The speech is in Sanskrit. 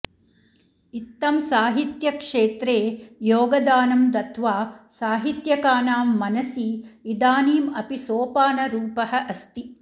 इत्थं साहित्यक्षेत्रे योगदानं दत्त्वा साहित्यकानां मनसि इदानीम् अपि सोपानरूपः अस्ति